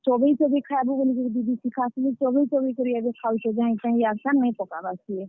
ଚବେଇ ଚବେଇ ଖାଏବୁ ବଲିକରି ଦିଦି ଶିଖାସନ୍ ଯେ ଚବେଇ ଚବେଇ କରି ଏଭେ ଖାଉଛେ ଜାହିଁତାହିଁ ଇଆଡ୍ ସିଆଡ୍ ନାଇ ପକାବାର୍ ସେ।